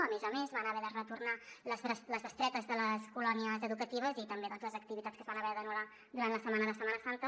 a més a més van haver de retornar les bestretes de les colònies educatives i també les activitats que es van haver d’anul·lar durant la setmana de setmana santa